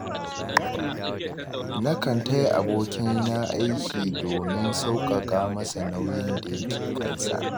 Nakan taya abokina aiki domin sauƙaƙa masa nauyin da yake kan sa.